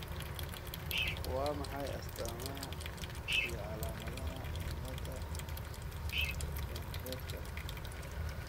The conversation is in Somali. Waa maxay astamaha iyo calaamadaha cilada pendredka?